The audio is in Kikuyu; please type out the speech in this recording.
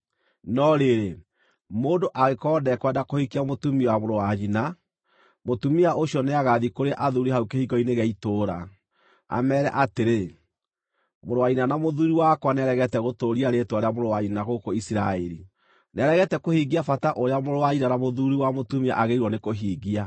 No rĩrĩ, mũndũ angĩkorwo ndekwenda kũhikia mũtumia wa mũrũ wa nyina, mũtumia ũcio nĩagathiĩ kũrĩ athuuri hau kĩhingo-inĩ gĩa itũũra, ameere atĩrĩ, “Mũrũ wa nyina na mũthuuri wakwa nĩaregete gũtũũria rĩĩtwa rĩa mũrũ wa nyina gũkũ Isiraeli. Nĩaregete kũhingia bata ũrĩa mũrũ wa nyina na mũthuuri wa mũtumia agĩrĩirwo nĩ kũhingia.”